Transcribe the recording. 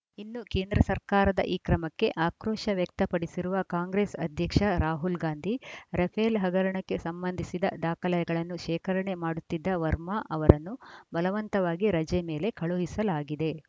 ಇನ್ನು ಕೇಂದ್ರ ಸರ್ಕಾರದ ಈ ಕ್ರಮಕ್ಕೆ ಆಕ್ರೋಶ ವ್ಯಕ್ತಪಡಿಸಿರುವ ಕಾಂಗ್ರೆಸ್‌ ಅಧ್ಯಕ್ಷ ರಾಹುಲ್‌ ಗಾಂಧಿ ರಫೇಲ್‌ ಹಗರಣಕ್ಕೆ ಸಂಬಂಧಿಸಿದ ದಾಖಲೆಗಳನ್ನು ಶೇಖರಣೆ ಮಾಡುತ್ತಿದ್ದ ವರ್ಮಾ ಅವರನ್ನು ಬಲವಂತವಾಗಿ ರಜೆ ಮೇಲೆ ಕಳುಹಿಸಲಾಗಿದೆ